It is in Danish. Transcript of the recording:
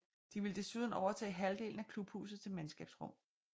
De ville desuden overtage halvdelen af klubhuset til mandskabsrum